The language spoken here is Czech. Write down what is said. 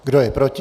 Kdo je proti?